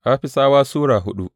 Afisawa Sura hudu